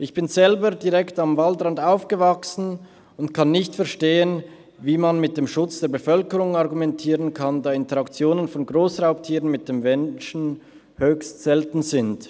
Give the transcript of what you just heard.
Ich bin selber direkt am Waldrand aufgewachsen und kann nicht verstehen, wie man mit dem Schutz der Bevölkerung argumentieren kann, da Interaktionen von Grossraubtieren mit Menschen höchst selten sind.